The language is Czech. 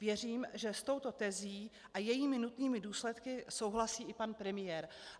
Věřím, že s touto tezí a jejími nutnými důsledky souhlasí i pan premiér.